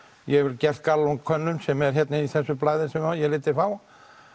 ég hef gert Gallup könnun sem er hér í þessu blaði sem ég lét þig fá